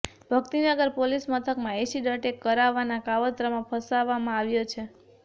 Bhaktinagar police મથકમાં acid attack કરવવાના કાવતરામા ફસાવવા માં આવ્યો છે